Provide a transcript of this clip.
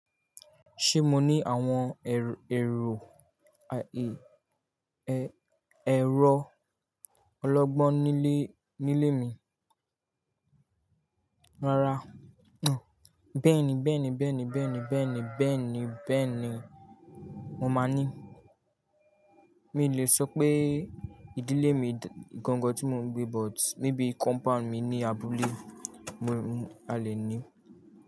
Ṣé mo ní àwọn èrò, ayé, ẹ̀rọ ọlọ́gbọ́n nílé, nílé mi? Rárá, bẹ́ẹ̀ni, bẹ́ẹ̀ni, bẹ́ẹ̀ni, bẹ́ẹ̀ni, bẹ́ẹ̀ni, bẹ́ẹ̀ni, mo máa ní. Mi ò le sọ pé ìdílé mi gangan tí mò ń gbé but maybe compound mi ní abúlé, mo, a lè ní.